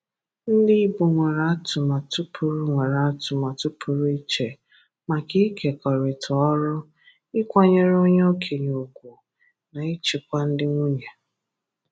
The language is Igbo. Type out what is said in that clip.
Ndị Ìgbò nwere atụmatụ pụrụ nwere atụmatụ pụrụ iche maka ịkekọrịta ọrụ, ịkwanyere onye ọ̀kénye ùgwù, na ịchịkwa ndị nwunye.